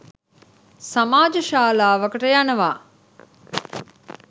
සමාජ ශාලාවකට යනවා